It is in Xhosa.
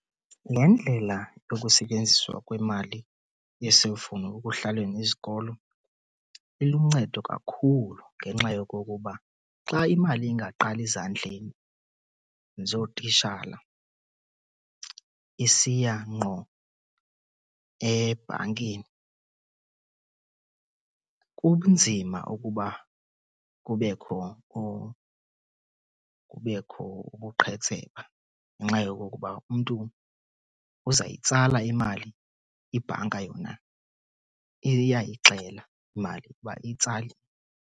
Le ndlela yokusetyenziswa kwemali yeselifowni ekuhlawuleni izikolo iluncedo kakhulu. Ngenxa yokokuba xa imali ingaqali zandleni zootitshala isiya ngqo ebhankini kunzima ukuba kubekho , kubekho ubuqhetseba ngenxa yokokuba umntu uza yitsala imali, ibhanka yona iyayixela imali ukuba itsaliwe.